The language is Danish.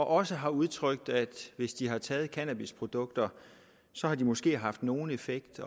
også har udtrykt at det hvis de har taget cannabisprodukter måske haft nogen effekt